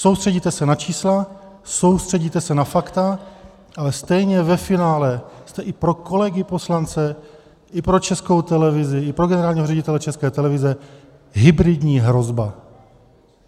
Soustředíte se na čísla, soustředíte se na fakta, ale stejně ve finále jste i pro kolegy poslance i pro Českou televizi i pro generálního ředitele České televize hybridní hrozba.